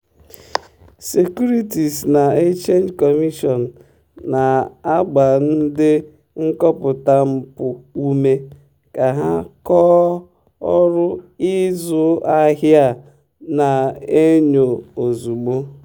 securities na exchange commision na-agba ndị nkọpụta mpụ ume ka ha kọọ ọrụ ịzụ ahịa a na-enyo ozugbo.